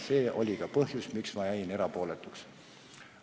See oli ka põhjus, miks ma jäin erapooletuks.